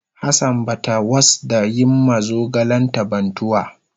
Hassan bata was da yin ma zogalen ta bantuwa.